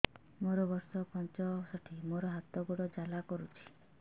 ମୋର ବର୍ଷ ପଞ୍ଚଷଠି ମୋର ହାତ ଗୋଡ଼ ଜାଲା କରୁଛି